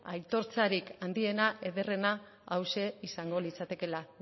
aitortzarik handiena ederrena hauxe izango litzatekeela